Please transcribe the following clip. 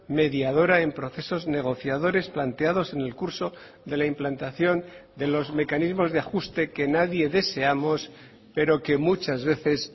mediadora en procesos negociadores planteados en el curso de la implantación de los mecanismos de ajuste que nadie deseamos pero que muchas veces